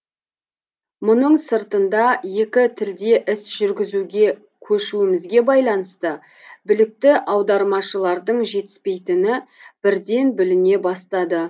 мұның сыртында екі тілде іс жүргізуге көшуімізге байланысты білікті аудармашылардың жетіспейтіні бірден біліне бастады